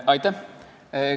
Aitäh!